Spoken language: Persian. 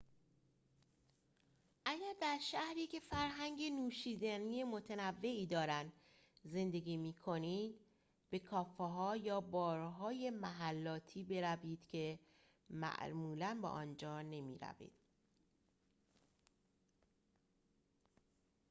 اگر در شهری که فرهنگ نوشیدنی متنوعی دارند زندگی می کنید به کافه ها یا بارهای محلاتی بروید که معمولا به آنجا نمی‌روید